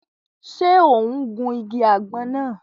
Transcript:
Ṣe o n gun ìgi àgbon náà?